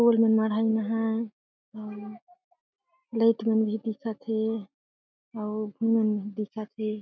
ओल मन मढ़ाईन अहाय अउ लईट में दिखत हे अउ मन दिखत हे।